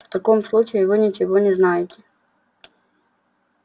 в таком случае вы ничего не знаете